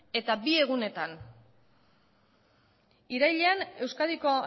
eta bi egunetan irailean euskadiko